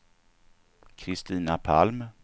Kristina Palm